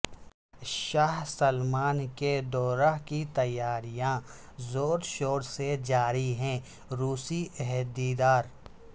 شاہ Salman کے دورہ کی تیاریاں زور شور سے جاری ہیں روسی عہدیدار